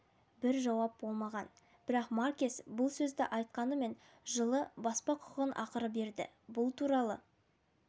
бір жауап болмаған бірақ маркес бұл сөзді айтқанымен жылы баспа құқығын ақыры берді бұл туралы